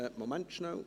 Einen Moment bitte.